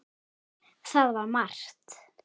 Það var margt.